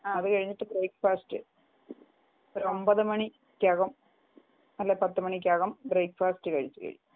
അത് കഴിഞ്ഞിട്ട് ബ്രേക്ക്ഫാസ്റ്റ്‌ ഒരു ഒമ്പതു മണിക്കകം അല്ലെങ്കിൽ പത്ത് മണിക്കകം ബ്രേക്ഫാസ്റ് കഴിച്ച് കഴിയും